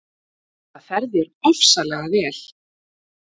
Það fer þér ofsalega vel!